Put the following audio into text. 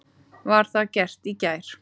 Var það gert í gær.